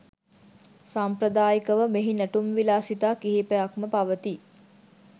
සාම්ප්‍රදායිකව මෙහි නැටුම් විලාසිතා කිහිපයක්ම පවතී.